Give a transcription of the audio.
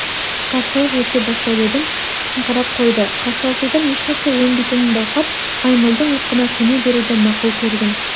қарсылық ете бастап едім қысыңқырап қойды қарсыласудан ешнәрсе өнбейтінін байқап маймылдың ырқына көне беруді мақұл көрдім